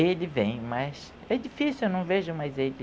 Ele vem, mas é difícil, eu não vejo mais ele.